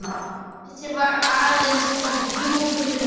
Þessi var aðeins of djúpur fyrir mig.